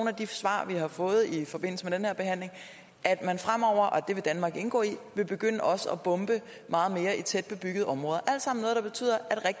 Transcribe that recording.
af de svar vi har fået i forbindelse med den her behandling at man fremover og det vil danmark indgå i vil begynde også at bombe meget mere i tæt bebyggede områder